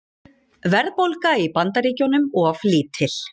Verðbólga í Bandaríkjunum of lítil